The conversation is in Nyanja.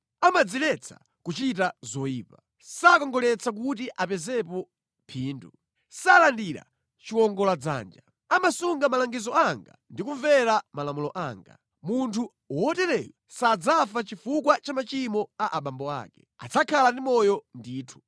Amadziletsa kuchita zoyipa. Sakongoletsa kuti apezepo phindu. Salandira chiwongoladzanja. Amasunga malangizo anga ndi kumvera malamulo anga. Munthu wotereyo sadzafa chifukwa cha machimo a abambo ake. Adzakhala ndi moyo ndithu.